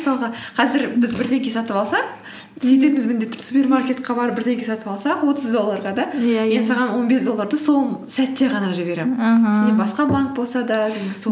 мысалға қазір біз бірдеңе сатып алсақ біз супермаркетке барып бірдеңе сатып алсақ отыз долларға да иә иә мен саған он бес долларды сол сәтте ғана жіберемін аха сенде басқа банк болса да жаңағы